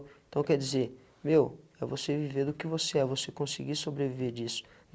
Então quer dizer, meu, é você viver do que você é. Você conseguir sobreviver disso.